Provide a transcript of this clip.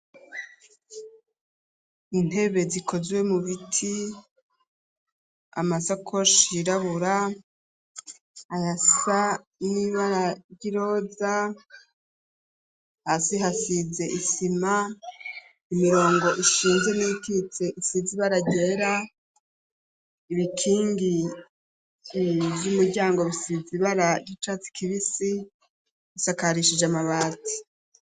Intebe zikozwe mu biti, amasakoshi yirabura, ayasa n'ibara ry'iroza ,hasi hasize isima , imirongo ishinze n'iyikitse isize ibara ryera, ibikingi vy'umuryango bisize ibara ry'icatsi kibisi, bisakarishije amabati.